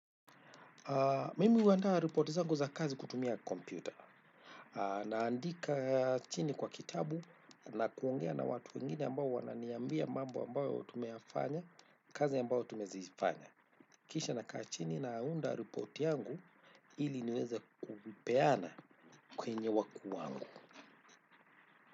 Mimi huandaa ripoti zangu za kazi kutumia kompyuta. Na andika chini kwa kitabu na kuongea na watu wengine ambao wananiambia mambo ambayo tumeyafanya kazi ambayo tumezifanya. Kisha na kaa chini naunda ripoti yangu ili niweze kupeana kwenye wakuu wangu.